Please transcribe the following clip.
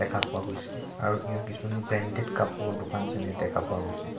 দেখা পোৱা গৈছে আৰু ইয়াৰ কিছুমান ব্ৰণ্ডেদ কাপোৰৰ দোকান যেনে দেখা গৈছে।